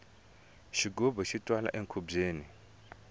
xigubu xi twala enkhubyeni